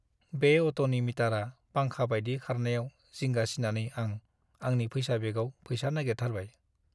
बे अट'नि मिटारआ फांखा बायदि खारनायाव जिंगा सिनानै आं आंनि फैसा बेगआव फैसा नागेरथारबाय।